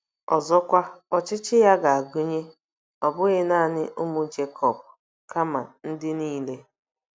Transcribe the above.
Ọzọkwa, ọchịchị ya ga-agụnye, ọ bụghị nanị ụmụ Jekọb, kama “ ndị nile. "